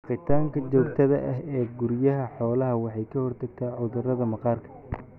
Dhaqitaanka joogtada ah ee guryaha xoolaha waxay ka hortagtaa cudurrada maqaarka.